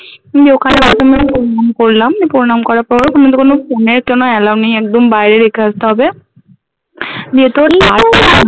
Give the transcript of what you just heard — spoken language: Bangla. নিয়ে করলাম প্রণাম করার পরে ওখানথেকে অন্য phone এর কোনো allow নেই একদম বাইরে রেখে আসতে হবে দিয়ে তোর